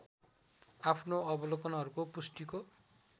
आफ्नो अवलोकनहरूको पुष्टिको